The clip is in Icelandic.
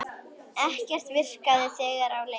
Ekkert virkaði þegar á leið.